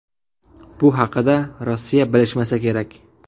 Bu haqida Rossiya bilishmasa kerak.